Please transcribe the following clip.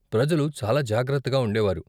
ప్రజలు చాలా జాగ్రత్తగా ఉండేవారు.